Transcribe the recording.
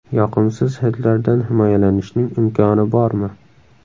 Yoqimsiz hidlardan himoyalanishning imkoni bormi?